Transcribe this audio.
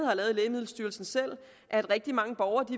har lavet i lægemiddelstyrelsen at rigtig mange borgere